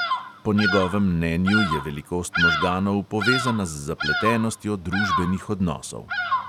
Po njegovem mnenju je velikost možganov povezana z zapletenostjo družbenih odnosov.